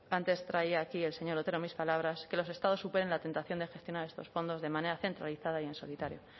antes traía aquí el señor otero mis palabras que los estados superen la tentación de gestionar estos fondos de manera centralizada y en solitario